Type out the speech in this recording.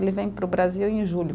Ele vem para o Brasil em julho.